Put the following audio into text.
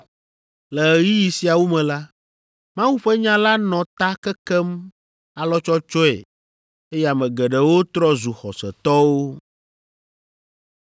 Le ɣeyiɣi siawo me la, Mawu ƒe nya la nɔ ta kekem alɔtsɔtsɔe eye ame geɖewo trɔ zu xɔsetɔwo.